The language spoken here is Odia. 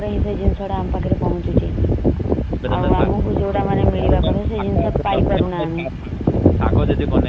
ହେଲେ ଦୁଇ ତିନି ଦିନ ପରେ ଆମ ପାଖରେ ଜିନିଷ ତ ଆସି ପଅନହଞ୍ଚୁଛି। ଆଉ ଆମକୁ ଜୌତ ମିଳିବ କଥା ସେ ଜିନିଷ ପାଇପାରୁନା ଆମେ।